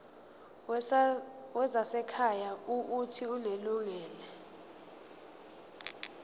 wezasekhaya uuthi unelungelo